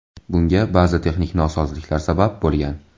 Bunga ba’zi texnik nosozliklar sabab bo‘lgan.